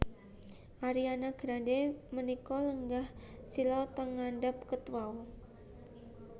Ariana Grande menika lenggah sila teng ngandhap ket wau